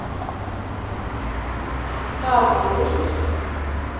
Hamarvik